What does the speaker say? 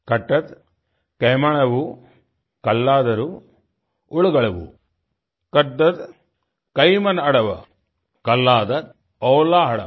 कट्टत केमांवु कल्लादरु उडगड़वु कड्डत कयिमन अड़वा कल्लादर ओलाआडू